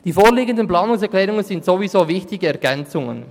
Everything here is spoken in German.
Die vorliegenden Planungserklärungen sind sowieso wichtige Ergänzungen.